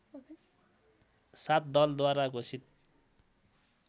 सात दलद्वारा घोषित